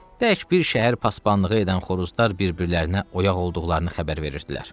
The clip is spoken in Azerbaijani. Tək bir şəhər pasbanlığı edən xoruzlar bir-birlərinə oyaq olduqlarını xəbər verirdilər.